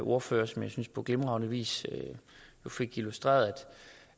ordfører som jeg synes på glimrende vis fik illustreret